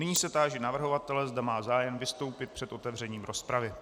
Nyní se táži navrhovatele, zda má zájem vystoupit před otevřením rozpravy.